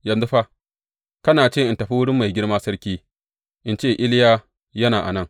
Yanzu fa, kana ce in tafi wurin mai girma sarki, in ce, Iliya yana a nan.’